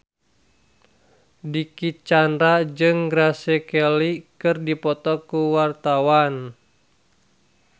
Dicky Chandra jeung Grace Kelly keur dipoto ku wartawan